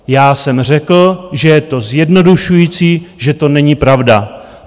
Já jsem řekl, že je to zjednodušující, že to není pravda.